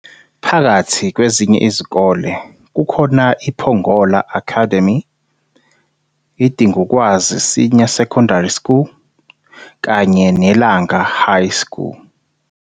Phakathi kwezinye izikole, kukhona iPongola Akademie, iDingukwazi Senior Secondary School kanye neLanga High School.